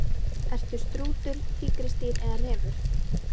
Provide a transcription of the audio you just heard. Ertu strútur, tígrisdýr eða refur?